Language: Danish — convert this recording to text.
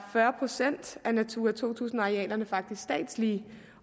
fyrre procent af natura to tusind arealerne faktisk statslige